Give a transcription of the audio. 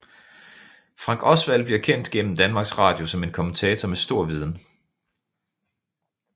Frank Osvald bliver kendt gennem Danmarks Radio som en kommentator med stor viden